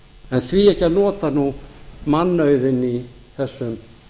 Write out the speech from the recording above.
en því ekki að nota nú mannauðinn í þessum